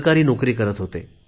सरकारी नोकरी करत होते